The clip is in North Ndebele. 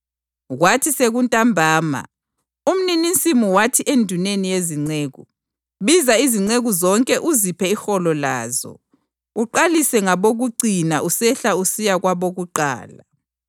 Kwathi sekuntambama, umninisivini wathi enduneni yezinceku, ‘Biza izinceku uziphe iholo lazo, uqalise ngabokucina usehla usiya kwabokuqala.’